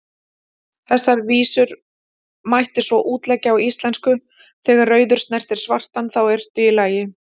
Þessar vísur mætti svo útleggja á íslensku: Þegar rauður snertir svartan, þá ertu í lagi,